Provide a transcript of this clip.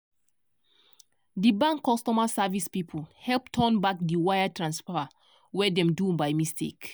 di bank customer service people help turn back di wire transfer wey dem do by mistake.